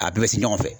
A bɛɛ bɛ se ɲɔgɔn fɛ